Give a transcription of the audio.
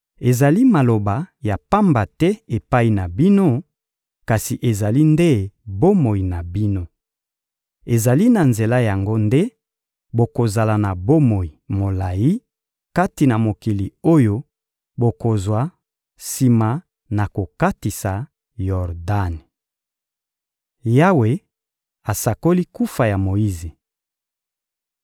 Ezali maloba ya pamba te epai na bino, kasi ezali nde bomoi na bino. Ezali na nzela na yango nde bokozala na bomoi molayi kati na mokili oyo bokozwa sima na kokatisa Yordani.» Yawe asakoli kufa ya Moyize